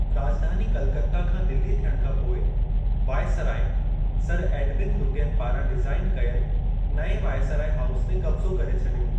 राॼधानी कलकत्ता खां दिल्ली थियण खां पोइ, वायसराय, सर एडविन लुटियन पारां डिजाइन कयल नएं वायसराय हाउस ते कब्ज़ो करे छॾियो।